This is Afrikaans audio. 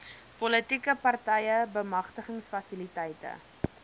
politieke partye bemagtigingsfasiliteite